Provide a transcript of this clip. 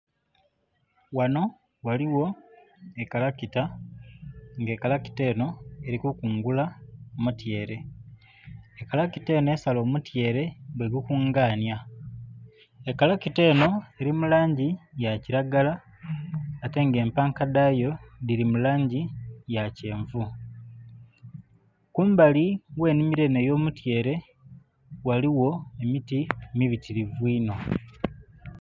Ghano ghaligho ekalakita, nga ekalakita enho eli kukungula mutyeere. Kalakita enho esala omutyeere bwegukunganya. Ekalakita enho eli mu langi ya kilagala, ate nga empanka dhayo dhili mu langi ya kyenvu. Kumbali gh'ennhimilo enho ey'omutyeere ghaligho emiti mibitilivu inho.